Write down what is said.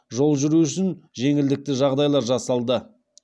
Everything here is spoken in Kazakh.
жол жүру үшін жеңілдікті жағдайлар жасалды